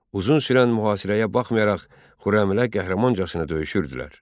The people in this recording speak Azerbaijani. Uzun sürən mühasirəyə baxmayaraq Xürrəmilər qəhrəmancasına döyüşürdülər.